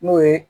N'o ye